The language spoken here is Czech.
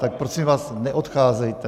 Tak prosím vás neodcházejte.